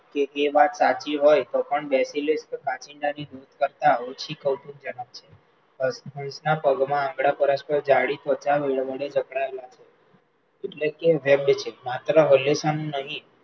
કે એ વાત સાચી હોય તો પણ કાંચિડાની પગમાં આંગળા પરસ્પર જાડી ત્વચા વડે જકડાયેલા હોય એટલે કે હલે છે માત્ર હલેસાં નહિ